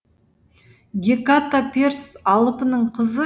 геката перс алыпының қызы